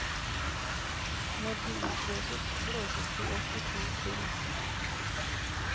Når de utløses, blåses de opp i to trinn.